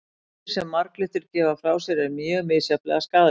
Eitrið sem marglyttur gefa frá sér er mjög misjafnlega skaðlegt.